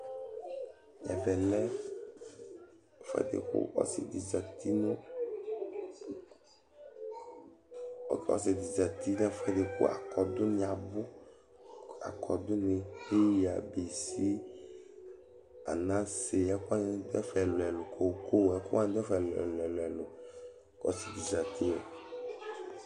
Ɛvɛ lɛ ɛfʋɛdɩ bʋakʋ ɔsɩ dɩ zǝtɩ, kʋ ɛkʋ wanɩ abʋ: akɔdʋ nɩ, peyǝ, bisi, anase, koko Ɛkʋ wanɩ dʋ ɛfɛ ɛlʋ ɛlʋ